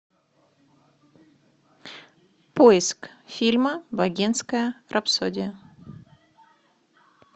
поиск фильма богемская рапсодия